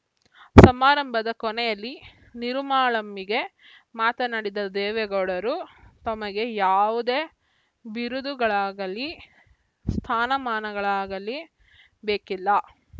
ಸಮಾರಂಭದ ಕೊನೆಯಲ್ಲಿ ನಿರುಮ್ಮಳಾಮ್ಮಿಗೆ ಮಾತನಾಡಿದ ದೇವೇಗೌಡರು ತಮಗೆ ಯಾವುದೇ ಬಿರುದುಗಳಾಗಲೀ ಸ್ಥಾನಮಾನಗಳಾಗಲೀ ಬೇಕಿಲ್ಲ